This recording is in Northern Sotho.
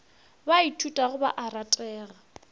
ba ithutago ba a ratega